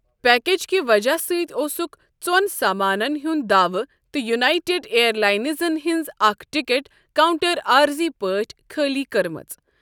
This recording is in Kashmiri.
پیکیج کہِ وجہ سۭتۍ اوسُکھ ژوٚن سامانَن ہُنٛد داوٕ تہٕ یونائیٹڈ ایئر لائنزَن ہٕنٛز اکھ ٹکٹ کاؤنٹر عارضی پٲٹھۍ خٲلی کٔرمٕژ۔